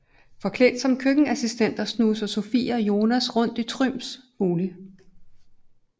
Forklædt som køkkenassistenter snuser Sofie og Jonas rundt i Thryms bolig